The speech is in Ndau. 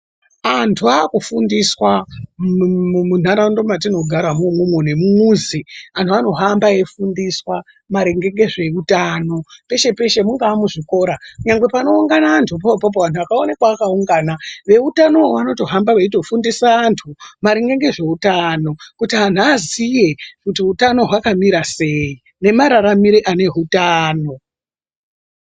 Antu akufundiswa mundaraunda matinogara imwomwo ngemumuzi antu anohamba eyifundiswa maringe ngezveutano peshe peshe mungava muzvikora nyangwe panowungana antu ipapo vantu vakaonekwa vakawungana veutano vanotohamba veitofundisa antu maringe ngezveutano kuti antu aaziye kuti hutano hwakamira seyi nemararamire ane hutano.